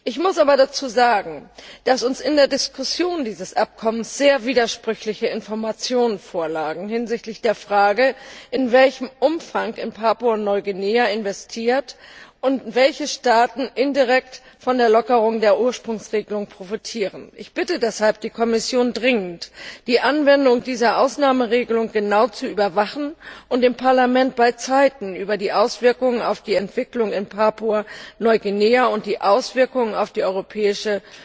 Ich muss aber dazu sagen, dass uns in der Diskussion über dieses Abkommen sehr widersprüchliche Informationen hinsichtlich der Frage vorlagen, in welchem Umfang in Papua Neuguinea investiert wird und welche Staaten indirekt von der Lockerung der Ursprungsregelung profitieren. Ich bitte deshalb die Kommission dringend, die Anwendung dieser Ausnahmeregelung genau zu überwachen und dem Parlament rechtzeitig über die Auswirkungen auf die Entwicklung in Papua Neuguinea und die Auswirkungen auf die europäische